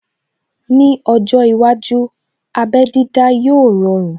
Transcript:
Ní ọjọ́ iwájú, abé dídá yóò rọrun